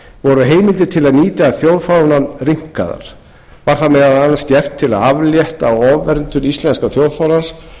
voru heimildir til að nýta þjóðfánann rýmkaðar var það meðal annars gert til að aflétta ofverndun íslenska þjóðfánans